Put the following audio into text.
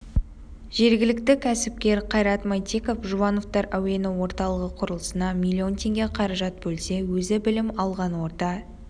жергілікті кәсіпкер қайрат мәйтеков жұбановтар әуені орталығы құрылысына миллион теңге қаражат бөлсе өзі білім алған орта